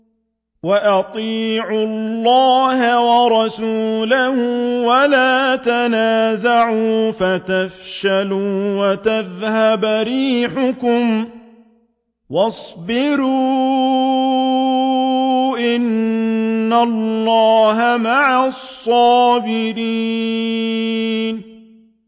وَأَطِيعُوا اللَّهَ وَرَسُولَهُ وَلَا تَنَازَعُوا فَتَفْشَلُوا وَتَذْهَبَ رِيحُكُمْ ۖ وَاصْبِرُوا ۚ إِنَّ اللَّهَ مَعَ الصَّابِرِينَ